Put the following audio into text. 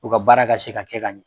U ka baara ka se ka kɛ ka ɲɛ